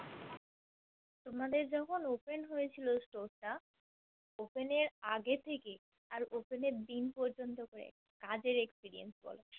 তোমাদের যখন Open হয়েছিল Store টা Open এর আগে থেকে আর Open এর দিন পর্যন্ত কাজের Experience বলো